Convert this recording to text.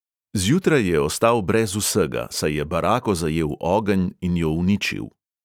Zjutraj je ostal brez vsega, saj je barako zajel ogenj in jo uničil.